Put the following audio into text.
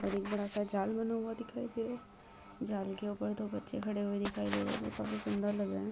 एक बड़ा-सा जाल बना हुआ दिखाई दे रहा है जाल के ऊपर दो बच्चे खड़े हुए दिखाई दे रहे हैं जो काफी सुंदर लग रहे हैं।